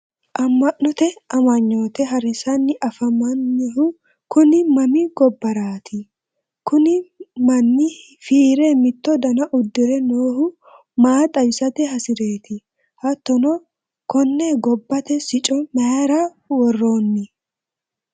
amma'note amanyoote harinsanni afammannihu kuni mami gobbaraati? kuni manni fiire mitto dana uddire noohu maa xawisate hasireeti? hattono konne gobbate sicco mayiira worroonni?